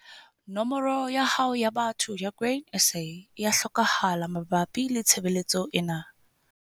Nomoro ya hao ya botho ya Grain SA e a hlokahala mabapi le tshebeletso ena.